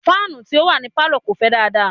fáànù tí ó wà ní Pálọ̀ kò fẹ́ dáadáa.